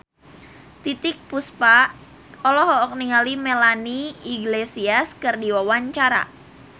Titiek Puspa olohok ningali Melanie Iglesias keur diwawancara